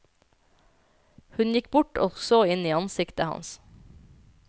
Hun gikk bort og så inn i ansiktet hans.